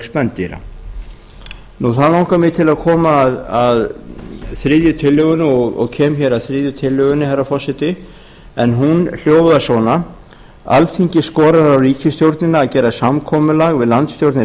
auk spendýra þá langar mig til að koma að þriðju tillögunni og kem hér að þriðju tillögunni herra forseti en hún hljóðar svona alþingi skorar á ríkisstjórnina að gera samkomulag við landsstjórnir